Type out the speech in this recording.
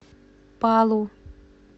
палу